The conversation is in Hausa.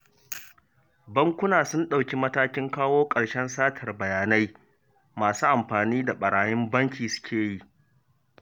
Bankuna sun ɗauki matakin kawo ƙarshen satar bayanai masu amfani da ɓarayin banki sukeyi